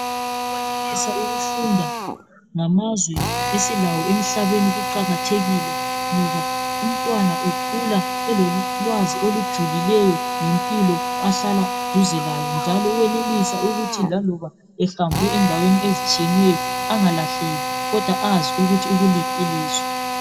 Ukwenelisa ukufunda ngamazwe esilawo emhlabeni kuqakathekile ngoba umntwana ukhula elolwazi olujulileyo ngempilo duze lawo njalo uyenelisa ukuthi laloba ehambe endaweni ezitshiyeneyo angalahleki angazi ukuthi ukuliphi ilizwe.